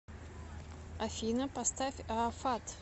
афина поставь аафат